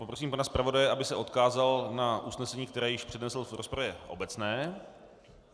Poprosím pana zpravodaje, aby se odkázal na usnesení, které již přednesl v rozpravě obecné.